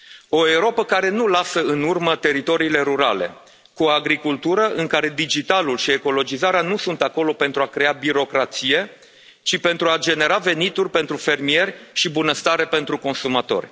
O Europă care nu lasă în urmă teritoriile rurale cu o agricultură în care digitalul și ecologizarea nu sunt acolo pentru a crea birocrație, ci pentru a genera venituri pentru fermieri și bunăstare pentru consumator.